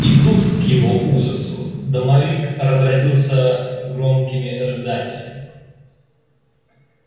и тут к его ужасу домовик разразился громкими рыданиями